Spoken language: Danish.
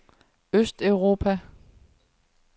østeuropa